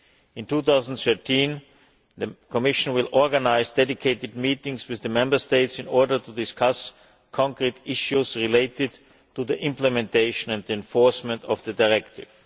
In 2013 the Commission will organise dedicated meetings with the Member States in order to discuss concrete issues relating to the implementation and enforcement of the directive.